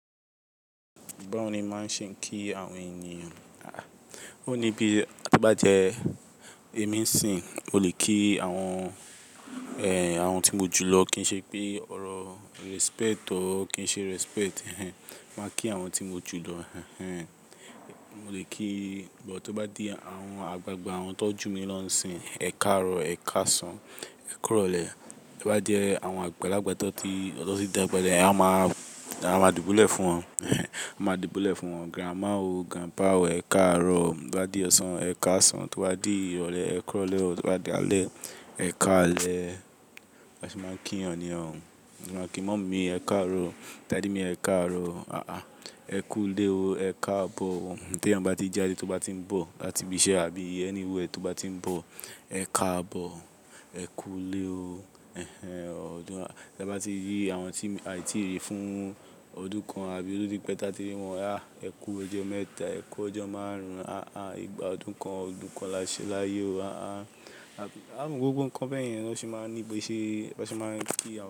Ba wo ni ma ṣe ń kí àwọn ènìyàn? O ní bí a bá jẹ ẹ̀mí n sìn, mo le kí àwọn, ẹ, àwọn tí mo jù lọ kí n ṣe pé ọ̀rọ̀ respect ọ, kí n ṣe respect. Ma kí àwọn tí mo jù lọ. Mo le kí, but to bá di àwọn àgbàgbà àwọn tọ́jú mi lọ́hùn-sìn, ẹ káàárọ̀, ẹ káàsán, ẹ kúròlè. To bá jẹ àwọn àgbàlagbà tọ́ ti, tan ti dàgbà ẹ́, a máa, a máa dìbúlẹ̀ fún wọn. A máa dìbúlẹ̀ fún wọn. Grandma o, grandpa o, ẹ káàárọ̀. Bí ó bá di ọ̀sán, ẹ káàsán. Tí ó bá di Irọ̀lẹ̀, ẹ kúròlè. Tí ó bá di alẹ́, ẹ káalẹ́. Ba se máa ń kí ènìyàn. A sì máa ń kí mummy mi, ẹ káàárọ̀, daddy me ẹ káàárọ̀. Àáa, ẹ kú u lé o, ẹ káàbọ̀ o. Tí ẹnìyan bá ti jáde, tí ó bá ti ń bọ̀, láti ibi iṣẹ́ àbí anywhere tí ó bá ti ń bọ̀, ẹ káàbọ̀, ẹ kú u lé o. Ẹ bá ti rí àwọn tí aì tí ì ri fún ọdún kan àbí tó tí pẹ́ ta ti rí wọn, háà ẹ kú ọjọ́ mẹ́ta, ẹ kú ọjọ́ márùn-ún. À á, ìgbà ọdún kan, ọdún kan la ṣe láyé o. À á, àwọn gbogbo nǹkan bẹ́ẹ̀ yẹn ni a sì máa ń ní ibi iṣẹ́, a sì máa ń kí àwọn.